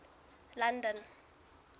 london